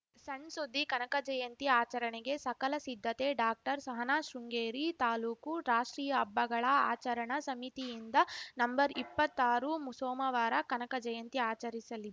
ಸಣ್‌ ಸುದ್ದಿ ಕನಕ ಜಯಂತಿ ಆಚರಣೆಗೆ ಸಕಲ ಸಿದ್ಧತೆ ಡಾಕ್ಟರ್ಸಹನಾ ಶೃಂಗೇರಿ ತಾಲೂಕು ರಾಷ್ಟ್ರೀಯ ಹಬ್ಬಗಳ ಆಚರಣಾ ಸಮಿತಿಯಿಂದ ನಂಬರ್ ಇಪ್ಪತ್ತಾರು ಸೋಮವಾರ ಕನಕ ಜಯಂತಿ ಆಚರಿಸಲಿ